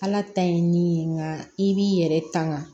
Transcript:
Ala ta ye min ye nka i b'i yɛrɛ tanga